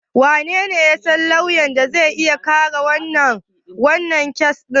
Wanene ya san lauyan da zai iya kare wannan kes din satar?